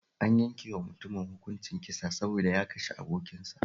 An yanke wa mutumin hukuncin kisa saboda ya kashe abokinsa